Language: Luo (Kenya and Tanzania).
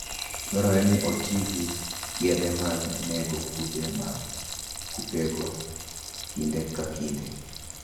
Dwarore ni oti gi yedhe mag nego kute mag kutego kinde ka kinde.